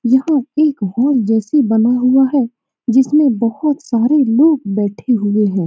यह एक जैसे बना हुआ है जिसमे बहोत सारे लोग बैठे हुए है।